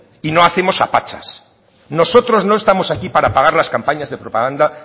y no hacemos a pachas nosotros no estamos aquí para pagar las campañas de propaganda